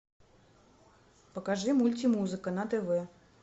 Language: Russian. покажи мультимузыка на тв